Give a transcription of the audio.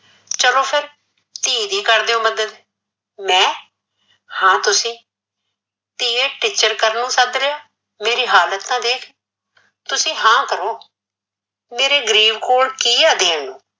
ਚੱਲੋ ਫਿਰ ਧੀ ਦੀ ਕਰ ਦਿਉ ਮੱਦਦ, ਮੈ ਹਾਂ ਤੁਸੀਂ, ਧੀਏ ਟੀਚਰ ਕਰਨ ਨੂੰ ਸੱਦਰੀਆ ਮੇਰੀ ਹਾਲਤ ਤਾਂ ਦੇਖ ਤੁਸੀਂ ਹਾਂ ਤਾਂ ਕਰੋ ਮੇਰੇ ਗਰੀਬ ਕੋਲ ਕੀ ਏ ਦੇਣ ਨੂੰ